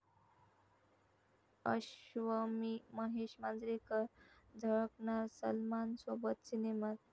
अश्वमी महेश मांजरेकर झळकणार सलमानसोबत सिनेमात!